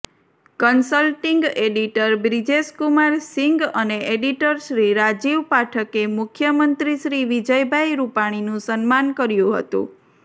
consulting editor Brijeshkumar Singh અને એડિટરશ્રી રાજીવ પાઠકે મુખ્યમંત્રીશ્રી વિજયભાઇ રૂપાણીનું સન્માન કર્યુ હતું